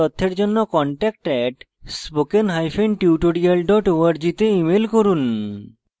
বিস্তারিত তথ্যের জন্য contact @spokentutorial org তে ইমেল করুন